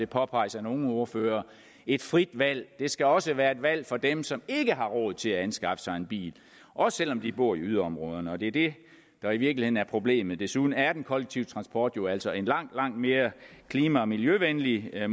påpeges af nogle ordførere netop et frit valg det skal også være et valg for dem som ikke har råd til at anskaffe sig en bil også selv om de bor i yderområderne og det det er i virkeligheden er problemet desuden er den kollektive transport jo altså en langt langt mere klima og miljøvenlig end at